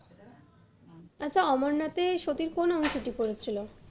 আচ্ছা, অমরনাথে সতীর কোন অংশটি পড়েছিল?